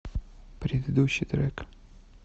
предыдущий трек